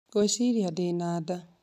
Ngwĩciria ndĩ na nda